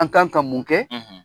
An kan ka mun kɛ.